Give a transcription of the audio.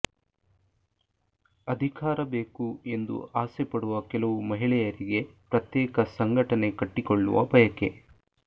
ಅಧಿಕಾರ ಬೇಕು ಎಂದು ಆಸೆ ಪಡುವ ಕೆಲವು ಮಹಿಳೆಯರಿಗೆ ಪ್ರತ್ಯೇಕ ಸಂಘಟನೆ ಕಟ್ಟಿಕೊಳ್ಳುವ ಬಯಕೆ